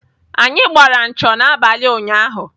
Anyị gbara ncho n'abalị ụnyaahụ.